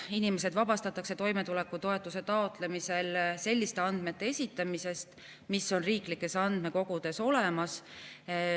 Inimesed vabastatakse toimetulekutoetuse taotlemisel selliste andmete esitamisest, mis on riiklikes andmekogudes olemas.